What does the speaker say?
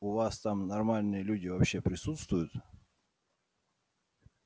у вас там нормальные люди вообще присутствуют